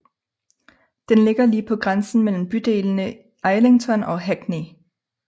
Den ligger lige på grænsen mellem bydelene Islington og Hackney